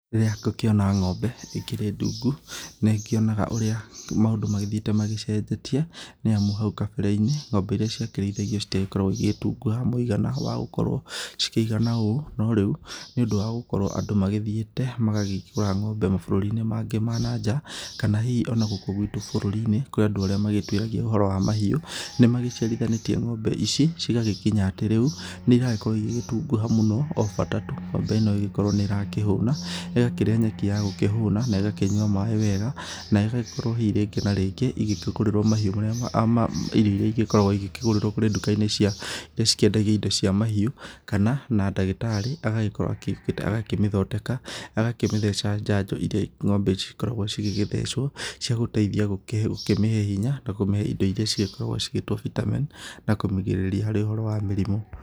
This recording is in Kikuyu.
Rĩrĩa ngũkĩona ng'ombe ĩkĩrĩ ndungu nĩ ngĩonaga ũrĩa maũndũ magĩthiĩte magĩcenjetie nĩamu hau kambere-inĩ ng'ombe iria ciakĩrĩithagio citiagĩkoragwo igĩgĩtunguha mwigana wa gũkorwo cikĩigana ũũ no rĩu nĩ ũndũ wa gũkorwo andũ magĩthiite magakĩgũra ng'ombe mabũrũri-inĩ mangĩ ma nanjaa kana ona hihi gũkũ gwitũ bũrũri-inĩ kũrĩ andũ arĩa magĩtuĩragia ũhoro wa mahiũ nĩ magĩciarithanĩtie ng'ombe ici cigagĩkinya atĩ rĩu nĩ iragĩkorwo igĩtunguha mũno o bata tu ng'ombe ĩno ĩgĩkorwo nĩ irakĩhuna ĩgakĩrĩa nyeki ya gũkĩhũna na ĩgakĩnyua maĩ wega na ĩgagĩkorwo hii rĩngĩ na rĩngĩ igĩtukũrĩrwo irio irĩa igĩkoragwo igĩkĩgũrĩrwo kũrĩ ndũka-inĩ cia irĩa cikĩendagio irio cia mahiũ kana na ndagĩtarĩ agagĩkorowo agĩũkĩte akamĩthondeka agakĩmĩtheca chanjo irĩa ng'ombe ici cikoragwo igĩgĩthecwo cia gũteithia gũkĩmĩhe hinya na kũmĩhe indo irĩa cigĩkoragwo cigĩtwo Vitamin na kũmĩgirĩrĩria harĩ ũhoro wa mĩrimũ.